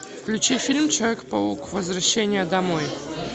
включи фильм человек паук возвращение домой